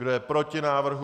Kdo je proti návrhu?